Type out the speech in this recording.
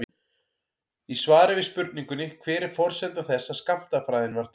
Í svari við spurningunni Hver er forsenda þess að skammtafræðin varð til?